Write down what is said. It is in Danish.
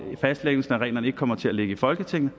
fastlæggelsen af reglerne ikke kommer til at ligge i folketinget